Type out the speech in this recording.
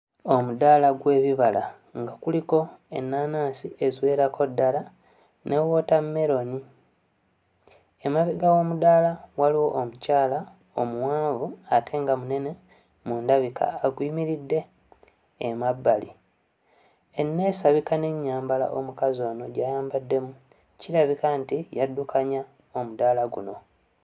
Omudaala gw'ebibala nga kuliko ennaanansi eziwerako ddala ne wootammeroni. Emabega w'omudaala waliwo omukyala omuwanvu ate nga munene mu ndabika aguyimiridde emabbali. Enneesabika n'ennyambala omukazi ono gy'ayambaddemu kirabika nti yaddukanya omudaala guno.